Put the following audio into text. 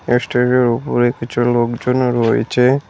Stage -এর উপরে কিছু লোকজনও রয়েচে।